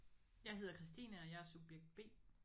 Jeg hedder Kristine og jeg er subjekt B